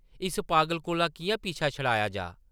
इस पागल कोला किʼयां पीछा छड़ाया जाऽ?